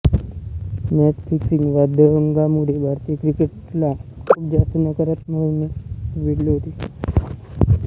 match fixing वादंगामुळे भारतीय क्रिकेटला खूप जास्त नकारात्मकतेने वेढले होते